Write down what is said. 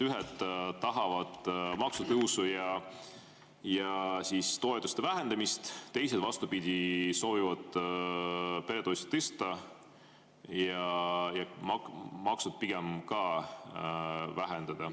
Ühed tahavad maksutõusu ja toetuste vähendamist, teised, vastupidi, soovivad peretoetusi tõsta ja makse pigem vähendada.